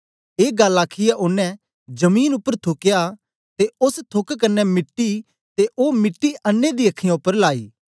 ए गल्ल आखीयै ओनें जमीन उपर थुकया ते ओस थूक कन्ने मिट्टी ते ओ मिट्टी अन्नें दी अखीयाँ उपर लायी